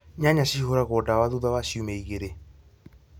Nyanya cihũragwo dawa thutha wa ciumia igĩrĩ